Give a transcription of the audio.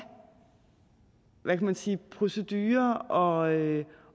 hvad kan man sige procedurer og